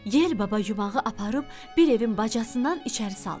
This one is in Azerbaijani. Yel baba yumağı aparıb bir evin bacasından içəri saldı.